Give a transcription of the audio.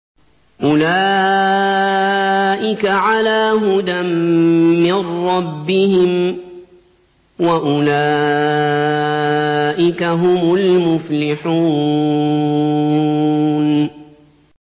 أُولَٰئِكَ عَلَىٰ هُدًى مِّن رَّبِّهِمْ ۖ وَأُولَٰئِكَ هُمُ الْمُفْلِحُونَ